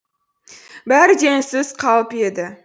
бәрі де үнсіз қалып еді